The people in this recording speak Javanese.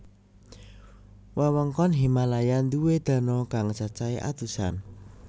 Wewengkon Himalaya duwé dano kang cacahe atusan